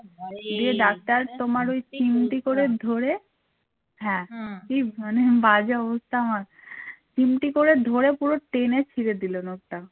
চিমটি করে ধরে পুরো টেনে ছিড়ে দিল নখটা